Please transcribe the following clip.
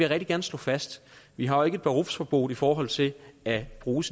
rigtig gerne slå fast vi har jo ikke et berufsverbot i forhold til at bruge